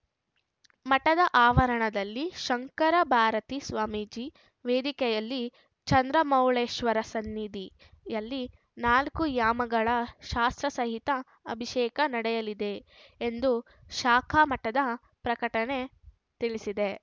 ಮಠದ ಆವರಣದಲ್ಲಿ ಶಂಕರ ಭಾರತಿ ಸ್ವಾಮೀಜಿ ವೇದಿಕೆಯಲ್ಲಿ ಚಂದ್ರಮೌಳೇಶ್ವರ ಸನ್ನಿಧಿಯಲ್ಲಿ ನಾಲ್ಕು ಯಾಮಗಳ ಶಾಸ್ತ್ರ ಸಹಿತ ಅಭಿಷೇಕ ನಡೆಯಲಿದೆ ಎಂದು ಶಾಖಾ ಮಠದ ಪ್ರಕಟಣೆ ತಿಳಿಸಿದೆ